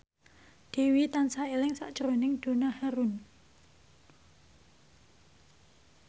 Dewi tansah eling sakjroning Donna Harun